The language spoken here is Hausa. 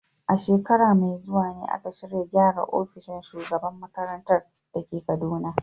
A shekara mai zuwa ne aka shirya gyara ofishin shugaban makarantar da ke Kaduna.